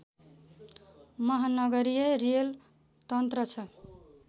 महानगरीय रेल तन्त्र छ